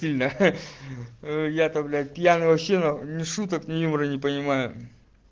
я то блять пьяный вообще ни шуток ни юмора не понимаю